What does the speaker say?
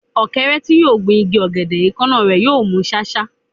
Ọ̀kẹ́rẹ́ tí yóò gun igi ọ̀gẹ̀dẹ̀, èékánná rẹ̀ yóò mú ṣáṣá.